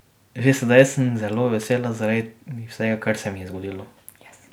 Že sedaj sem zelo vesela zaradi vsega, kar se mi je zgodilo ...